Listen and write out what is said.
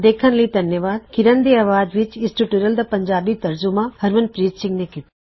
ਦੇਖਣ ਲਈ ਧੰਨਵਾਦਮੈਂ ਹਾਂ Harmanpreet Singh spoken tutorial project ਲਈ